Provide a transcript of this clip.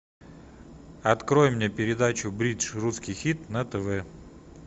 открой мне передачу бридж русский хит на тв